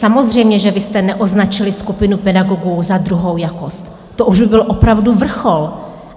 Samozřejmě že vy jste neoznačili skupinu pedagogů za druhou jakost, to už by byl opravdu vrchol.